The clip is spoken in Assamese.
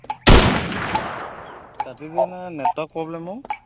কাটি দিয়া নাই network problem অ